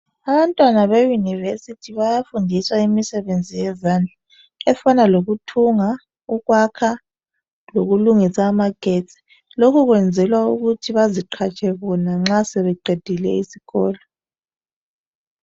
Abantwana be "University" bayafundiswa imisebenzi yezandla efana lokuthunga, ukwakha lokulungisa amagetsi lokhu kwenzelwa ukuthi baziqhatshe bona nxa sebeqedile isikolo.